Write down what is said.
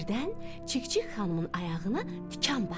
Birdən Çik-çik xanımın ayağına tikan batdı.